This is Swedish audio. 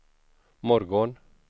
morgon